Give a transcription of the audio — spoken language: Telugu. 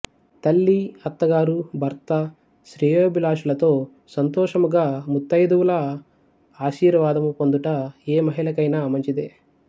తల్లి అత్తగారు భర్త శ్రేయోభిలాషులతో సంతోషముగా ముత్తైదువుల ఆశీర్వాదము పొందుట ఏ మహిళకైనా మంచిదే